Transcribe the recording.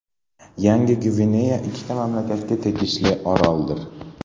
Yangi Gvineya ikkita mamlakatga tegishli oroldir.